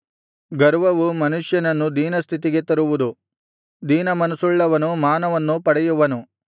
ಗರ್ವವು ಮನುಷ್ಯನನ್ನು ದೀನಸ್ಥಿತಿಗೆ ತರುವುದು ದೀನಮನಸ್ಸುಳ್ಳವನು ಮಾನವನ್ನು ಪಡೆಯುವನು